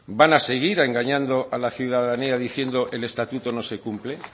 van a seguir engañando a la ciudadanía diciendo el estatuto no se cumple